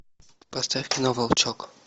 поставь кино волчок